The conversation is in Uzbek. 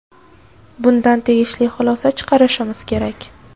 bundan tegishli xulosa chiqarishimiz kerak.